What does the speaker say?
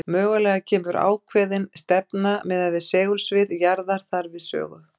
Mögulega kemur ákveðin stefna miðað við segulsvið jarðar þar við sögu.